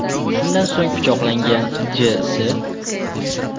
Shundan so‘ng pichoqlagan J.S.